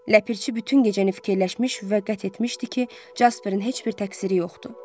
Ləpirçi bütün gecəni fikirləşmiş və qətiyyət etmişdi ki, Jasperin heç bir təqsiri yoxdu.